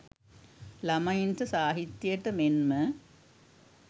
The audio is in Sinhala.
ළමයින්ට සාහිත්‍යයට මෙන්ම